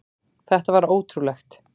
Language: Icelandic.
Þetta var ótrúlegt.